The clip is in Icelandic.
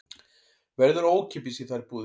Verður ókeypis í þær báðar